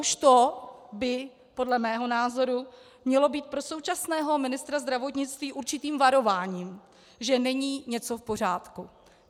Už to by podle mého názoru mělo být pro současného ministra zdravotnictví určitým varováním, že není něco v pořádku.